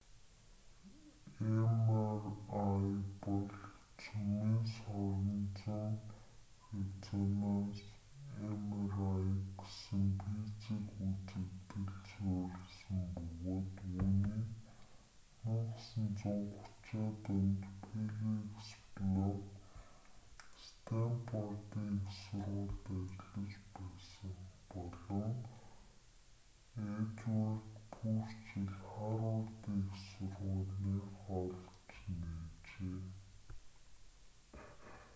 mri бол цөмийн соронзон резонанс mri гэсэн физик үзэгдэлд суурилсан бөгөөд үүнийг 1930-аад онд феликс блок стэнфордын их сургуульд ажиллаж байсан болон эдуард пурчелл харвардын их сургуулийнх олж нээжээ